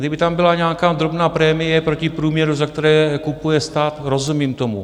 Kdyby tam byla nějaká drobná prémie proti průměru, za které kupuje stát, rozumím tomu.